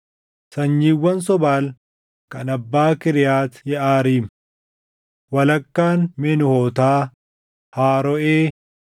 Sanyiiwwan Sobaal kan abbaa Kiriyaati Yeʼaariim: Walakkaan Menuhootaa, Haarooʼee,